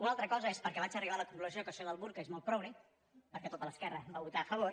una altra cosa és perquè vaig arribar a la conclusió que això del burca és molt progre perquè tota l’esquerra hi va votar a favor